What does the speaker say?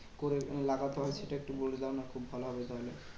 করে লাগাতে হয়? সেটা একটু বলে দাও না খুব ভালো হবে তাহলে।